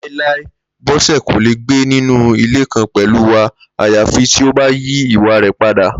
Láíláí! Bó̩sè̩ kò lè gbé nínú ilé kan pèlú wa àyàfi tí ó bá yí ìwà rè̩ padà